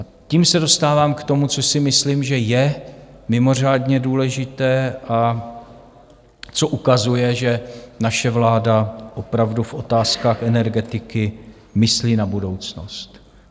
A tím se dostávám k tomu, co si myslím, že je mimořádně důležité a co ukazuje, že naše vláda opravdu v otázkách energetiky myslí na budoucnost.